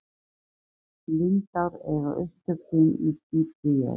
lindár eiga upptök sín dýpra í jörð